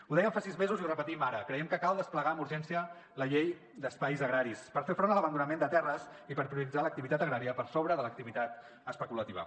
ho dèiem fa sis mesos i ho repetim ara creiem que cal desplegar amb urgència la llei d’espais agraris per fer front a l’abandonament de terres i per prioritzar l’activitat agrària per sobre de l’activitat especulativa